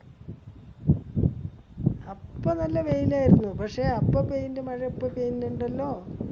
അപ്പൊ നല്ല വെയിലായിരുന്നു. പക്ഷെ അപ്പൊ പെയിന്റെ മഴ ഇപ്പൊ പെയിന്ടല്ലോ.